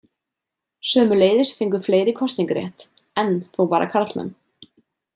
Sömuleiðis fengu fleiri kosningarétt, enn þó bara karlmenn.